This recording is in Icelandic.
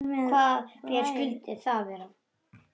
Hvaða ber skyldu það vera?